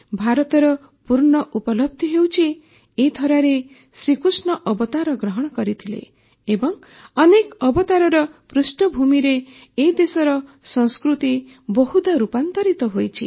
ଭାରତର ପୂର୍ଣ୍ଣ ଉପଲବଧି ହେଉଛି ଏ ଧରାରେ ଶ୍ରୀକୃଷ୍ଣ ଅବତାର ଗ୍ରହଣ କରିଥିଲେ ଏବଂ ଅନେକ ଅବତାରର ପୃଷ୍ଠଭୂମିରେ ଏ ଦେଶର ସଂସ୍କୃତି ବହୁଦା ରୂପାନ୍ତରିତ ହୋଇଛି